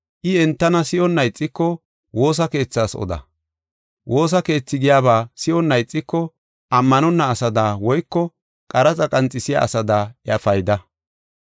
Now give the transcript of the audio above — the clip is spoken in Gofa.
I entana si7onna ixiko, woosa keethas oda. Woosa keethi giyaba si7onna ixiko ammanonna asada woyko qaraxa qanxisiya asada iya payda.